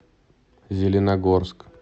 зеленогорск